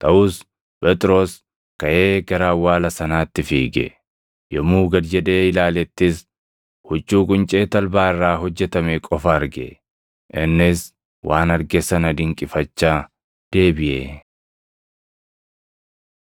Taʼus Phexros kaʼee gara awwaala sanaatti fiige. Yommuu gad jedhee ilaalettis huccuu quncee talbaa irraa hojjetame qofa arge; innis waan arge sana dinqifachaa deebiʼe.